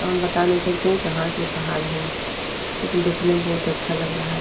हम बता नही सकते हैं कहाँ के पहाड़ हैं लेकिन देखने में बहुत अच्छा लग रहा है।